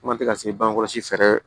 Kuma tɛ ka se bange kɔlɔsi fɛ fɛɛrɛ